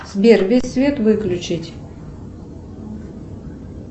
сбер весь свет выключить